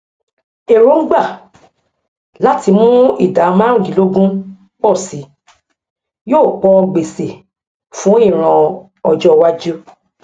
èròngbà láti mú ìdá márùndínlógún pọ si yóò pọ gbèsè fún ìran ọjówájú